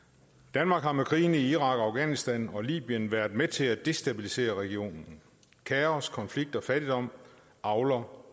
danmark har med krigene i irak afghanistan og libyen været med til at destabilisere regionen kaos konflikt og fattigdom avler